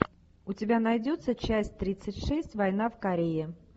у тебя найдется часть тридцать шесть война в корее